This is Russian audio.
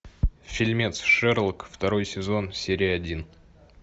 фильмец шерлок второй сезон серия один